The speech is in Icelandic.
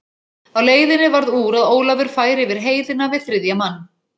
Á leiðinni varð úr að Ólafur færi yfir heiðina við þriðja mann.